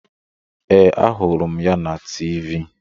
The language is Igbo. Ee, ahụrụ m ya na Tiivii.